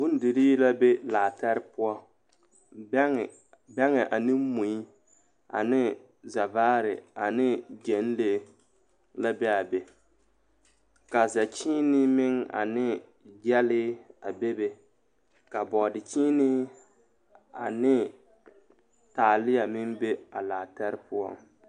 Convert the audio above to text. Bondirii la be laa tɛre poɔ bɛgɛ ane mui ane zɛvaare ane gyɛŋlee la be a be ka szɛkyiinii meŋ ane gyɛlii be ka bɔɔdr kyiinii ane taalia meŋ be a laa tɛre poɔ.